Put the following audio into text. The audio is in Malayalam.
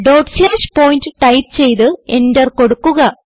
ഡോട്ട് സ്ലാഷ് പോയിന്റ് ടൈപ്പ് ചെയ്ത് എന്റർ കൊടുക്കുക